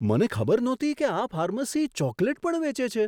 મને ખબર નહોતી કે આ ફાર્મસી ચોકલેટ પણ વેચે છે!